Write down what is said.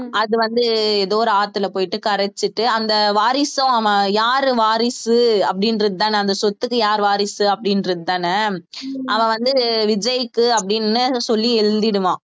அது வந்து ஏதோ ஒரு ஆத்துல போயிட்டு கரைச்சுட்டு அந்த வாரிசும் அவன் யாரு வாரிசு அப்படின்றதுதானே அந்த சொத்துக்கு யார் வாரிசு அப்படின்றதுதானே அவன் வந்து விஜய்க்கு அப்படின்னு சொல்லி எழுதிடுவான்